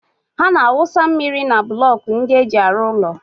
Ha na-awụsa mmiri na blọkų ndị e ji arụ ụlọ.